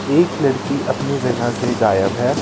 एक लड़की अपनी जगह से गायब है.